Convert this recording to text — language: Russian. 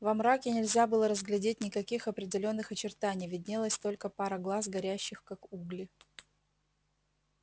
во мраке нельзя было разглядеть никаких определённых очертаний виднелась только пара глаз горящих как угли